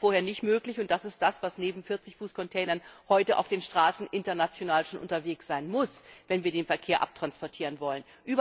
Das war vorher nicht möglich, und das ist das, was neben 40 Fuß Containern heute auf den Straßen international schon unterwegs sein muss, wenn wir den Verkehr abwickeln wollen.